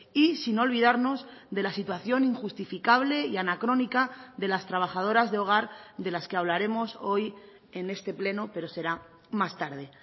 y sin olvidarnos de la situación injustificable y anacrónica de las trabajadoras de hogar de las que hablaremos hoy en este pleno pero será más tarde